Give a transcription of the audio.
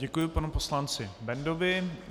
Děkuji panu poslanci Bendovi.